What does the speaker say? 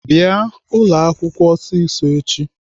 Bịanụ ụlọakwụkwọ ọsịsọ echi!